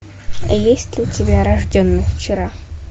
есть ли у тебя рожденный вчера